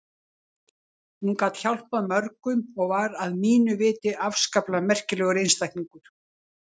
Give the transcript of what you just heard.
Hún gat hjálpað mörgum og var að mínu viti afskaplega merkilegur einstaklingur.